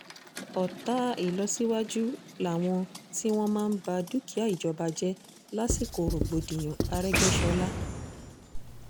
ọ̀tá ìlọsíwájú làwọn tí wọ́n máa ń ba dúkìá ìjọba jẹ́ lásìkò rògbòdìyàn àrègbéṣọ́lá